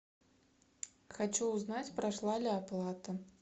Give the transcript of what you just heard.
хочу узнать прошла ли оплата